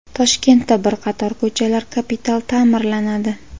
Toshkentda bir qator ko‘chalar kapital ta’mirlanadi.